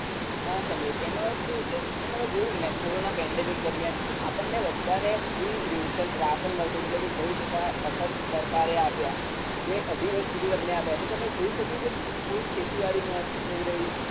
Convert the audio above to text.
હા સંદીપ એમાં શું છે કે તમે જોયું ને corona pandemic દરમિયાન આપણને બધાને free ration રાશન મળતું તું એટલે કે ઘઉં ચોખા મફત સરકારે આપ્યા બે-અઢી વર્ષ સુધી તમને આપ્યા તો તમે જોઈ શક્યું કે કોઈ ખેતીવાડી નતી થઇ રહી